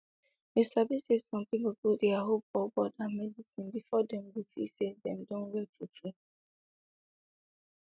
you sabi say some people put dia hope for god and medicine before dem go dey feel say dem don well true true